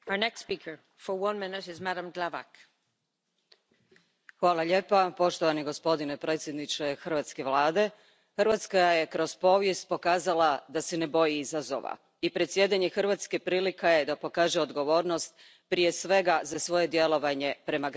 Poštovana predsjedavajuća, poštovani gospodine predsjedniče hrvatske Vlade, Hrvatska je kroz povijest pokazala da se ne boji izazova i predsjedanje Hrvatske prilika je da pokaže odgovornost, prije svega za svoje djelovanje prema građanima.